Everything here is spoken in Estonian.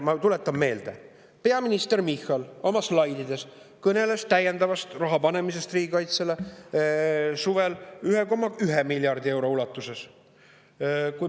Ma tuletan meelde, peaminister Michal oma slaididel suvel, et täiendavat raha pannakse riigikaitsesse 1,1 miljardi euro ulatuses.